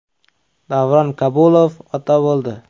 Davron Kabulov ota bo‘ldi.